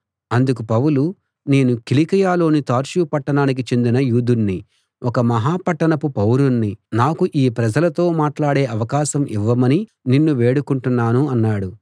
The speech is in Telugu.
అందుకు పౌలు నేను కిలికియలోని తార్సు పట్టణానికి చెందిన యూదుణ్ణి ఒక మహా పట్టణపు పౌరుణ్ణి నాకు ఈ ప్రజలతో మాటలాడే అవకాశం ఇవ్వమని నిన్ను వేడుకుంటున్నాను అన్నాడు